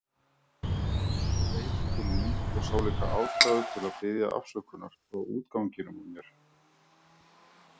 Leit til mín og sá líka ástæðu til að biðja afsökunar á útganginum á mér.